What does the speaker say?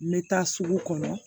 N bɛ taa sugu kɔnɔ